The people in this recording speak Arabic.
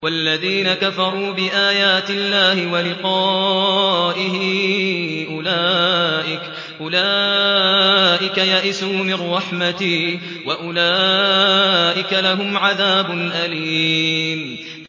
وَالَّذِينَ كَفَرُوا بِآيَاتِ اللَّهِ وَلِقَائِهِ أُولَٰئِكَ يَئِسُوا مِن رَّحْمَتِي وَأُولَٰئِكَ لَهُمْ عَذَابٌ أَلِيمٌ